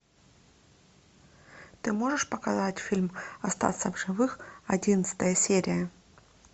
ты можешь показать фильм остаться в живых одиннадцатая серия